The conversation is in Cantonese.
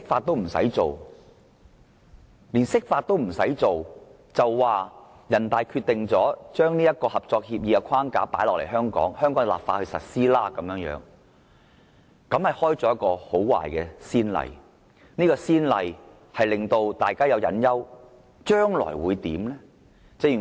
但是，這次連釋法也不用，人大常委會直接將《合作安排》的框架放諸香港，在香港立法實施，這開了很壞的先例，令大家憂慮到將來會如何？